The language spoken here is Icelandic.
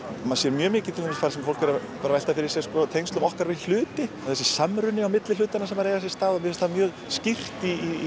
maður sér mjög mikið að fólk er að velta fyrir sér tengslum okkar við hluti þessi samruni á milli hlutanna sem er að eiga sér stað mér finnst það mjög skýrt í